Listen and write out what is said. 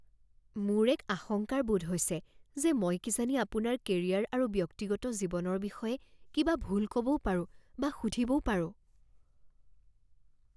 মোৰ এক আশংকাৰ বোধ হৈছে যে মই কিজানি আপোনাৰ কেৰিয়াৰ আৰু ব্যক্তিগত জীৱনৰ বিষয়ে কিবা ভুল ক'বও পাৰো বা সুধিবও পাৰোঁ।